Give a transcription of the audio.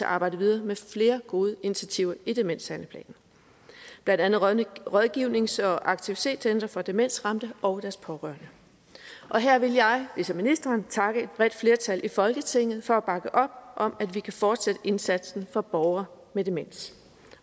arbejde videre med flere gode initiativer i demenshandleplanen blandt andet rådgivnings og aktivitetscentre for demensramte og deres pårørende her vil jeg ligesom ministeren takke et bredt flertal i folketinget for at bakke op om at vi kan fortsætte indsatsen for borgere med demens